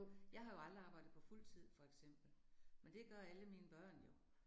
Jeg har jo aldrig arbejdet på fuldtid for eksempel, men det gør alle mine børn jo